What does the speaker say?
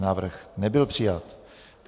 Návrh nebyl přijat.